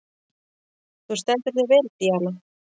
Þú stendur þig vel, Díana!